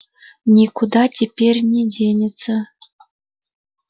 никуда теперь не денется